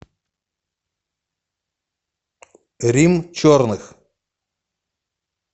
рим черных